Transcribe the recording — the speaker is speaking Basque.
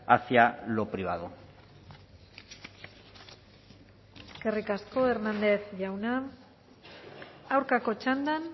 hacia lo privado eskerrik asko hernández jauna aurkako txandan